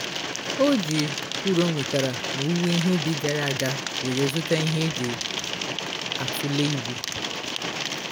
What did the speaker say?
o ji uru o nwetara n'owuwo ihe ubi gara ga were zụta ihe eji atule ibu